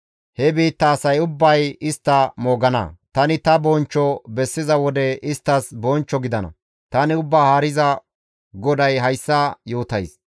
He biitta asay ubbay istta moogana; tani ta bonchcho bessiza wode isttas bonchcho gidana; tani Ubbaa Haariza GODAY hayssa yootays.